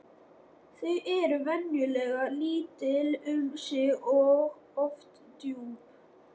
Þau eru venjulega lítil um sig og oft djúp.